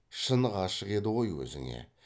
шын ғашық еді ғой өзіңе